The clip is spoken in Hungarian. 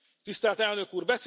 Tisztelt Elnök Úr,